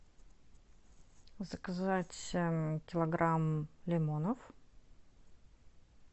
заказать килограмм лимонов